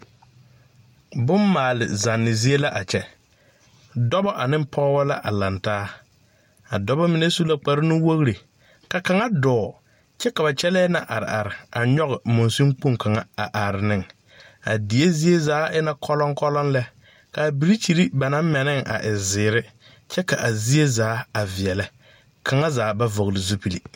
Bonmaale zanne zie la kyɛ dɔbɔ ane pɔɔbɔ la a laŋtaa a dɔbɔ mine su la kpare nuwogre ka kaŋa dɔɔ kyɛ ba kyɛlɛɛ na a are a nyoge mansen kpoŋ kaŋa a are neŋ a die zie zaa e na kɔlɔŋkɔlɔŋ lɛ kaa birikyire ba naŋ mɛ ne a e zeere kyɛ ka zie zaa a veɛlɛ kaŋa zaa ba vɔgle zupil.